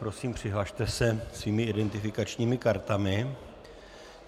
Prosím přihlaste se svými identifikačními kartami.